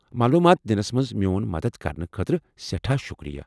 معلومات دِنس منٛز میون مدتھ کرنہٕ خٲطرٕ سیٹھاہ شُکریہ۔